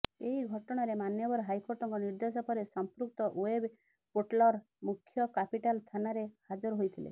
ଏହି ଘଟଣାରେ ମାନ୍ୟବର ହାଇକୋର୍ଟଙ୍କ ନିର୍ଦ୍ଦେଶ ପରେ ସଂପୃକ୍ତ ଓ୍ବେବ୍ ପୋର୍ଟାଲର ମୁଖ୍ୟ କ୍ୟାପିଟାଲ ଥାନାରେ ହାଜର ହୋଇଥିଲେ